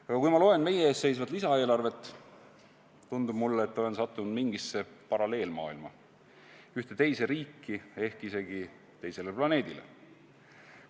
Aga kui ma loen meie ees seisvat lisaeelarvet, tundub mulle, et olen sattunud mingisse paralleelmaailma, ühte teise riiki, ehk isegi teisele planeedile.